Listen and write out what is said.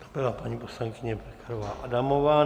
To byla paní poslankyně Pekarová Adamová.